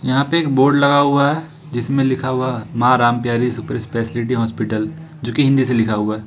यहां पे एक बोर्ड लगा हुआ है जिसमें लिखा हुआ माँ रामप्यारी सुपर स्पेशलिटी हॉस्पिटल जो कि हिंदी से लिखा हुआ है।